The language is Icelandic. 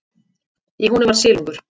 Í honum var silungur.